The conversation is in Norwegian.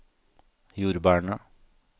jordbærene